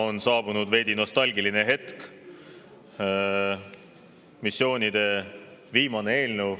On saabunud veidi nostalgiline hetk, viimane missioonieelnõu.